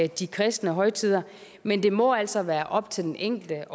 de kristne højtider men det må altså være op til den enkelte